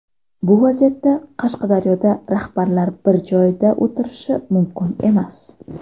Bu vaziyatda Qashqadaryoda rahbarlar bir joyda o‘tirishi mumkin emas.